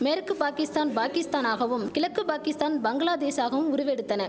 மேற்கு பாகிஸ்தான் பாகிஸ்தானாகவும் கிழக்கு பாகிஸ்தான் பங்களாதேஷாகவும் உருவெடுத்தன